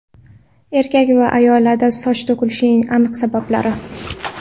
Erkak va ayollarda soch to‘kilishing aniq sabablari.